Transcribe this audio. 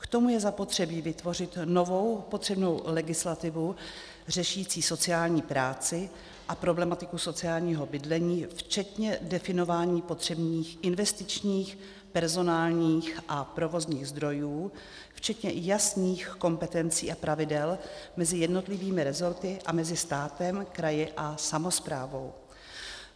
K tomu je zapotřebí vytvořit novou potřebnou legislativu řešící sociální práci a problematiku sociálního bydlení včetně definování potřebných investičních, personálních a provozních zdrojů včetně jasných kompetencí a pravidel mezi jednotlivými rezorty a mezi státem, kraji a samosprávou.